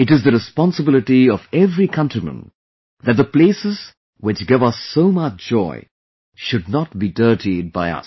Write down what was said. It is the responsibility of every countryman that the places which give us so much joy, should not be dirtied by us